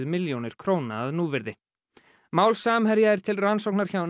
milljónir króna að núvirði mál Samherja er til rannsóknar hjá